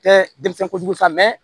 Tɛ denmisɛn kojugu sa